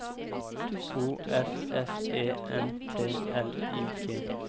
O F F E N T L I G